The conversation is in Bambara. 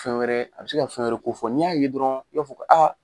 Fɛn wɛrɛ a bi se ka fɛn wɛrɛ kofɔ n'i y'a ye dɔrɔn i b'a fɔ ko.